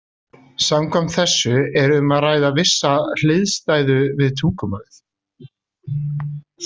Samkvæmt þessu er um að ræða vissa hliðstæðu við tungumálið.